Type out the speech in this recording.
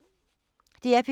DR P3